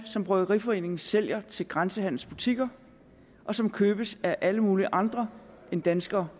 som bryggeriforeningen sælger til grænsehandelsbutikker og som købes af alle mulige andre end danskere